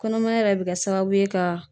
Kɔnɔmaya yɛrɛ bɛ kɛ sababu ye ka